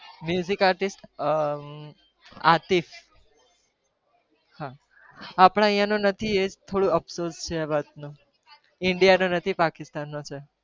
artist અમ અતીફ હા આપણા અહીંયા નો નથી એ જ થોડું અફસોસ છે એ વાનો ઇન્ડિયાનો નથી પાકિસ્તાનનો છે.